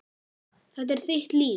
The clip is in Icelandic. Þetta er þitt líf